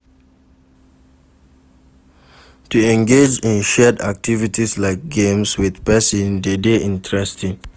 To engage in shared activities like games with persin de dey interesting